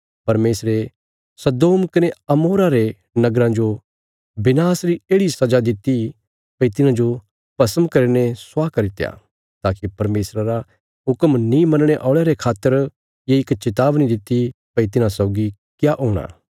परमेशरे सदोम कने अमोरा रे नगराँ जो विनाश री येढ़ि सजा दित्ति भई तिन्हांजो भस्म करीने स्वाह करित्या ताकि परमेशरा रा हुक्म नीं मनणे औल़यां रे खातर ये इक चेतावनी दित्ति भई तिन्हां सौगी क्या हूणा